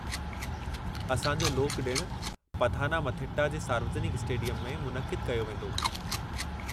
असां जो लोकु ॾिणु पथानामथिट्टा जे सार्वजनिकु स्टेडियम में मुनक़िदु कयो वेंदो।